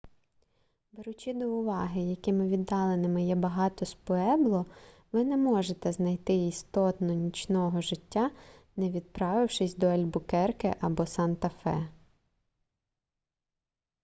беручи до уваги якими віддаленими є багато з пуебло ви не зможете знайти істотного нічного життя не відправившись до альбукерке або санта-фе